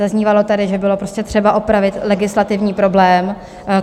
Zaznívalo tady, že bylo prostě třeba opravit legislativní problém.